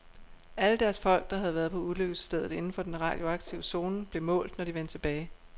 Alle deres folk, der havde været på ulykkesstedet inden for den radioaktive zone, blev målt, når de vendte tilbage.